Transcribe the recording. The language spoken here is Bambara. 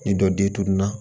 Ni dɔ den tununna